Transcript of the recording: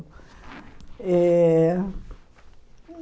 Eh